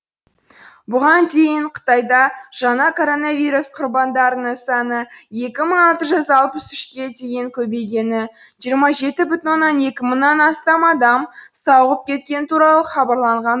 бұған дейін қытайда жаңа коронавирус құрбандарының саны екі мың алты жүз алпыс үшке дейін көбейгені жиырма жеті бүтін оннан екі мыңнан астам адам сауығып кеткені туралы хабарланған